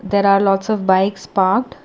there are lots of bikes parked.